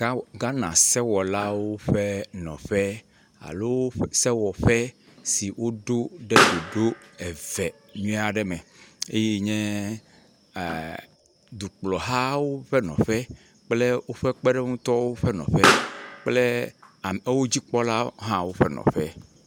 Ghana sewɔlawo ƒe nɔƒe alo sewɔƒe si woɖo ɖe doɖo eve nyuie aɖe me eye nye dukplɔ hawo ƒe nɔƒe kple woƒe kpeɖeŋutɔwo ƒe nɔƒe kple a wodzikpɔla hã woƒe nɔƒe.